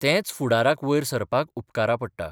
तेंच फुडाराक वयर सरपाक उपकारा पडटा.